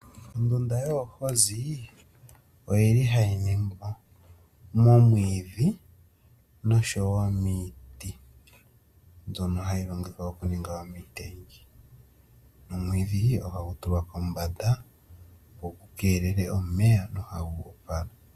Ondunda yeehozi oyi li hayi ningwa momwiidhi nosho wo miiti mbyoka hayi longithwa okuninga omitengi ,omwiidhi ohagu tulwa pombanda opo gukelele omeya.